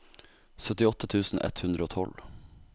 syttiåtte tusen ett hundre og tolv